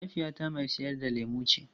Mahaifiyata mai sayar da lemu ce.